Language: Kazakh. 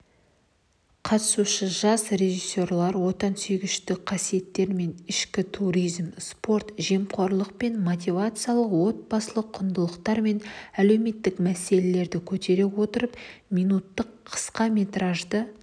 қатысушы жас режиссерлар отансүйгіштік қасиеттер мен ішкі туризм спорт жемқорлық пен мотивациялық отбасылық құндылықтары мен әлеуметтік мәселелерді көтере отырып минуттық қысқаметражды